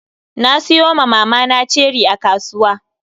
Na siyo ma mamana ceri a kasuwa.